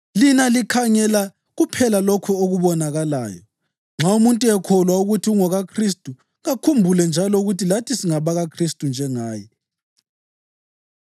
Lina likhangela kuphela lokho okubonakalayo. Nxa umuntu ekholwa ukuthi ungokaKhristu, kakhumbule njalo ukuthi lathi singabakaKhristu njengaye.